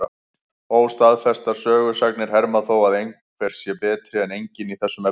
Óstaðfestar sögusagnir herma þó að sérhver sé betri en enginn í þessum efnum.